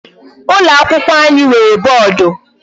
Ụlọ akwụkwọ anyị nwere boodu.